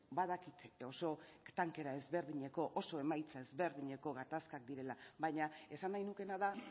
badakit oso tankera ezberdineko oso emaitza ezberdinetako gatazkak direla baina esan nahi nukeena da